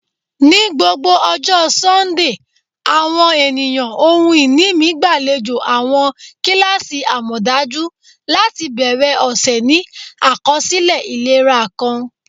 Ni gbogbo ọjọ Sundee, awọn eniyan ohun-ini mi gbalejo awọn kilasi amọdaju lati bẹrẹ ọsẹ ni akọsilẹ ilera kan.